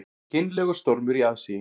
Kynlegur stormur í aðsigi